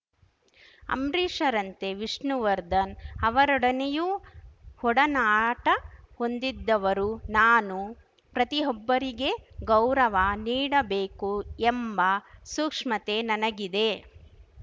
ಅಂಬ್ರಿಷ್‌ರಂತೆ ವಿಷ್ಣುವರ್ಧನ್‌ ಅವರೊಡನೆಯೂ ಒಡನಾಟ ಹೊಂದಿದ್ದವರು ನಾನು ಪ್ರತಿಯೊಬ್ಬರಿಗೆ ಗೌರವ ನೀಡಬೇಕು ಎಂಬ ಸೂಕ್ಷ್ಮತೆ ನನಗಿದೆ